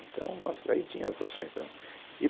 Então nossa, aí tinha as ações da e